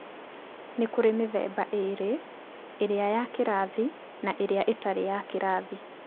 Nĩ kũrĩ mĩthemba ĩĩrĩ, ĩrĩa ya kĩrathi na ĩrĩa ĩtarĩ ya kĩrathi.